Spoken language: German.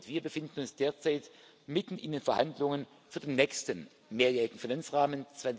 Sie und wir befinden uns derzeit mitten in den Verhandlungen für den nächsten mehrjährigen Finanzrahmen